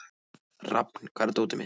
Rafn, hvar er dótið mitt?